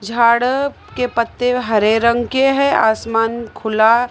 झाड़ के पत्ते हरे रंग के हैं आसमान खुला--